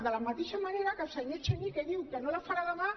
de la mateixa manera que el senyor echenique diu que no la farà demà